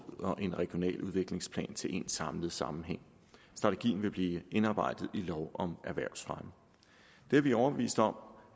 og en regional udviklingsplan til én samlet sammenhæng strategien vil blive indarbejdet i lov om erhvervsfremme det er vi overbevist om